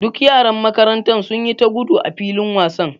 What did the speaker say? Duk yaran makaranta sun yi ta gudu a filin wasan.